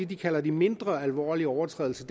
de kalder de mindre alvorlige overtrædelser